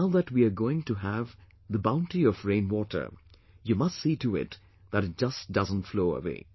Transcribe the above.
But now that we are going to have the bounty of rain water, we must see to it that it doesn't just flow away